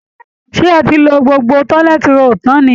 Ṣé ẹ ti lo gbogbo toilet roll tán ni?